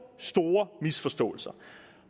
store misforståelser